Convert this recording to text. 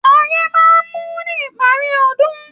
Oyẹ́ máa n mú ní ìparí ọdún.